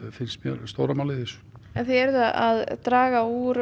finnst mér stóra málið í þessu þið eruð að draga úr